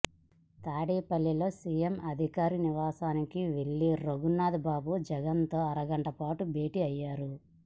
తాడేపల్లిలో సీఎం అధికారిక నివాసానికి వెళ్లిన రఘునాథ్ బాబు జగన్ తో అరగంటపాటు భేటీ అయ్యారు